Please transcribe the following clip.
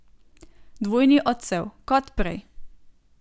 Dvojni odsev, kot prej.